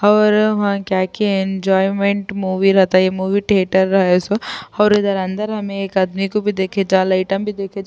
اور وہاں کیا کی ینجویمنٹ مووی رہتا، یہ مووی تھیٹر ہو سو اور ادھر اندر ہمیں ایک آدمی کو بھی دیکھ جال ایٹم کو بھی دیکھ --